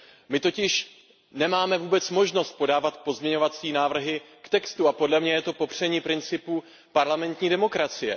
My totiž nemáme vůbec možnost podávat pozměňovací návrhy k textu a podle mě je to popření principu parlamentní demokracie.